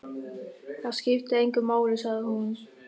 Það skiptir engu máli, sagði hún.